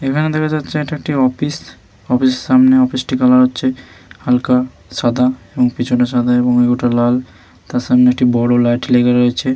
এখানে দেখা যাচ্ছে এটি একটি অফিস। অফিস এর সামনে অফিস টি কালার হচ্ছে হালকা সাদা এবং কিছুটা সাদা এবং কিছুটা লাল তার সামনে একটি বড় লাইট লেগে রয়েছে।